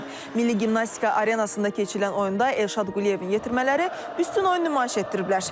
Milli Gimnastika Arenasında keçirilən oyunda Elşad Quliyevin yetirmələri üstün oyun nümayiş etdiriblər.